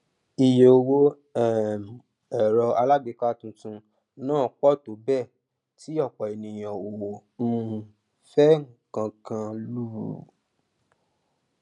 ìye owó um èrọ alágbèéká tuntun náà pọ tó bẹẹ tí ọpọ ènìyàn ò um fẹ kán kán lù ú